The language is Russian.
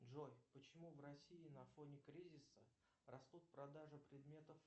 джой почему в россии на фоне кризиса растут продажи предметов